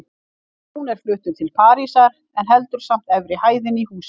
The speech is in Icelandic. Jón er fluttur til Parísar, en heldur samt eftir hæðinni í húsinu.